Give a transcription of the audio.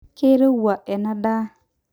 keurowua ena daa.